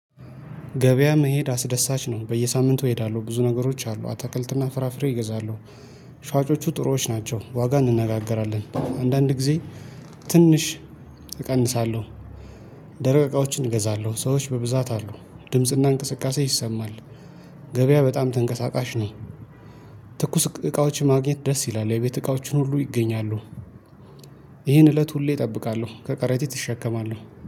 ገበያ መሄድ አስደሳች ነው በየሳምንቱ እሄዳለሁ ብዙ ነገሮች አሉ አተክልትና ፍራፍሬ እገዛለሁ። ሻጮቹ ጥሩዎች ናቸው ዋጋ እንነጋገራለን አንዳንድ ጊዜ ትንሽ እቀንሳለሁ። ደረቅ እቃዎችን እገዛለሁ ሰዎች በብዛት አሉ ድምጽና እንቅስቃሴ ይሰማል። ገበያ በጣም ተንቀሳቃሽ ነኝ። ትኩስ እቃዎች ማግኘት ደስ ይላል የቤት እቃዎችን ሁሉ ይገኛሉ። ይህን እለት ሁሌ እጠብቃለሁ ከቀረጢት እሸከማለሁ